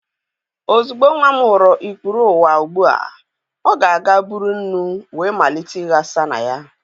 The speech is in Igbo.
Ozugbo nwa m hụrụ ikpuru ụwa ugbu a, ọ ga-aga buru nnu wee malite ịghasa na ya